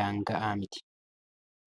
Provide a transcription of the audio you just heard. daanga'aa miti.